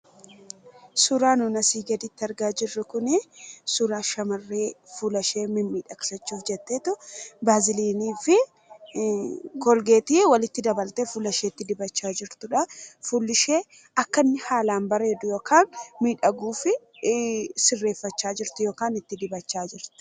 Suuraan nuti asii gaditti argaa jirru kun suuraa shamarree fuulashee miidhagsachuuf jetteetu baasaliinii fi kolgeetii walitti dabaltee fuulashee dibachaa jirtudha. Fuulishee akka inni haalaan bareeduu fi miidhagu sirreeffachaa jirtu fakkaata.